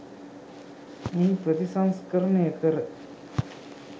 මෙහි ප්‍රතිසංස්කරණය කර